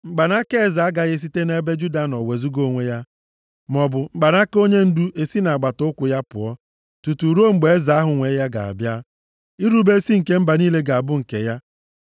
Mkpanaka eze agaghị esite nʼebe Juda nọ wezuga onwe ya, maọbụ mkpanaka onyendu esi nʼagbata ụkwụ ya pụọ, tutuu ruo mgbe eze ahụ nwe ya ga-abịa, irube isi nke mba niile ga-abụ nke ya.